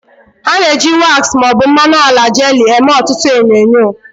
A na-eji waks ma ọ bụ mmanụ ala jelii eme ọtụtụ enyo enyo.